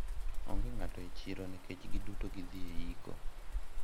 onge ng'ato e siro nikech giduto gidhi e iko